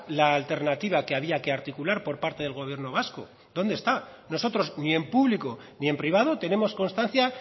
la alternativa que había que articular por parte del gobierno vasco dónde está nosotros ni en público ni en privado tenemos constancia